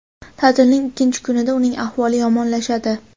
Ta’tilning ikkinchi kunida uning ahvoli yomonlashadi.